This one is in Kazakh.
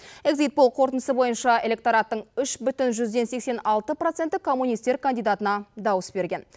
эгзит пол қорытындысы бойынша электораттың үш бүтін жүзден сексен алты проценті коммунистер кандидатына дауыс берген